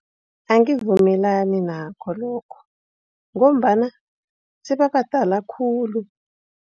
Angivumelani nakho lokho ngombana sebabadala khulu.